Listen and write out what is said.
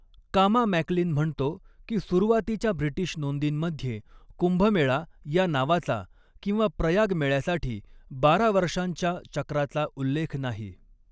कामा मॅक्लीन म्हणतो की सुरुवातीच्या ब्रिटीश नोंदींमध्ये 'कुंभमेळा' या नावाचा किंवा प्रयाग मेळ्यासाठी बारा वर्षांच्या चक्राचा उल्लेख नाही.